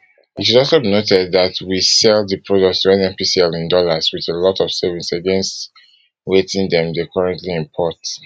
it should also be noted dat we sell di products to nnpcl in dollars with a lot of savings against wetin dem dey currently import